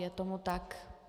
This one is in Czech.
Je tomu tak.